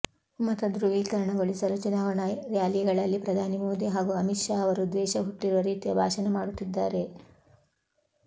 ಮತಧ್ರುವೀಕರಣಗೊಳಿಸಲು ಚುನಾವಣಾ ರ್ಯಾಲಿಗಳಲ್ಲಿ ಪ್ರಧಾನಿ ಮೋದಿ ಹಾಗೂ ಅಮಿತ್ ಶಾ ಅವರು ದ್ವೇಷ ಹುಟ್ಟಿರುವ ರೀತಿಯ ಭಾಷಣ ಮಾಡುತ್ತಿದ್ದಾರೆ